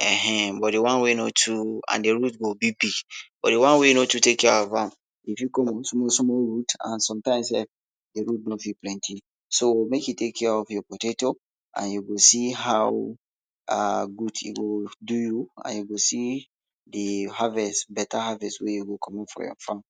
um but de one wey no too and de root go big but de one wey you no take care of am e go fit comot small small root and sometimes sef de root no fit plenty so make you take care of your potatoes and you go see how um gud e go do you and you go see de beta harvest wey go comot from your farm.